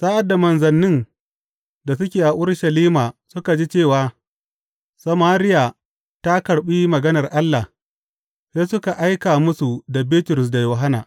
Sa’ad da manzannin da suke a Urushalima suka ji cewa Samariya ta karɓi maganar Allah, sai suka aika musu da Bitrus da Yohanna.